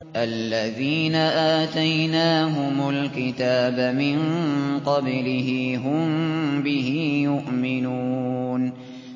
الَّذِينَ آتَيْنَاهُمُ الْكِتَابَ مِن قَبْلِهِ هُم بِهِ يُؤْمِنُونَ